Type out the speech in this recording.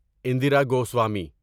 Indira Goswami